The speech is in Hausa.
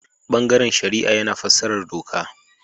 Bangaren shari'a yana fassarar doka.